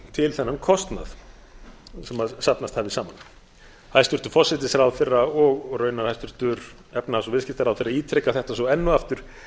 til þennan kostnað sem safnast hafði saman hæstvirtur forsætisráðherra og raunar hæstvirtur efnahags og viðskiptaráðherra ítreka þetta svo enn og aftur